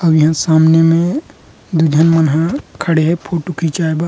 और यहाँ सामने में दो झन मन हा खड़े है फोटो खिंचाए बा --